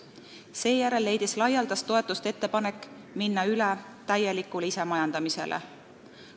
Seejärel leidis laialdast toetust ettepanek minna üle täielikule isemajandamisele.